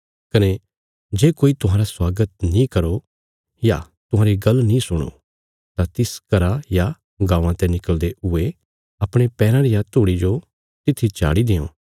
कने जे कोई तुहांरा स्वागत नीं करो या तुहांरी गल्ल नीं सुणो तां तिस घरा या गाँवां ते निकल़दे हुये अपणे पैराँ रिया धूड़ी जो तित्थी झाड़ी देआं